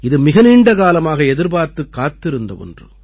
இது மிக நீண்ட காலமாக எதிர்பார்த்துக் காத்திருந்த ஒன்று